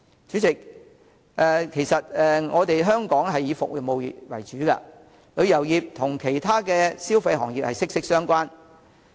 主席，香港以服務業為主，旅遊業與其他消費行業息息相關。